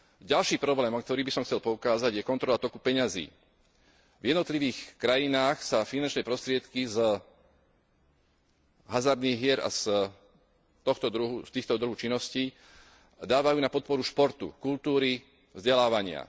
Ďalší problém, na ktorý by som chcel poukázať, je kontrola toku peňazí. V jednotlivých krajinách sa finančné prostriedky z hazardných hier a z tohto druhu činností dávajú na podporu športu, kultúry, vzdelávania.